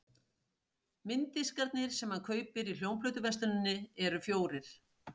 Mynddiskarnir sem hann kaupir í hljómplötuversluninni eru fjórir.